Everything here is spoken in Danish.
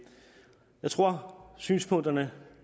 jeg tror synspunkterne